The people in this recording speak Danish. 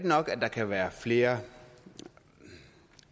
nok at der kan være flere